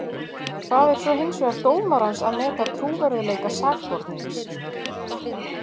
Það er svo hins vegar dómarans að meta trúverðugleika sakbornings.